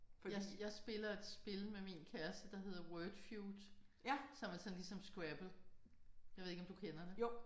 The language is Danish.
Jeg jeg spiller et spil med min kæreste der hedder Wordfued som er sådan ligesom scrabble. Jeg ved ikke om du kender det